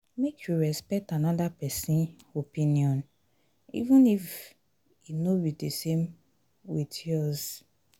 make you respect anoda pesin opinion even if e no be di same wit yours.